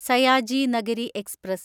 Sayaji Nagari express